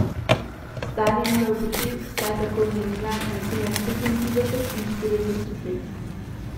Star je moral biti, vsaj tako je menila, nekje med petintrideset in štirideset let.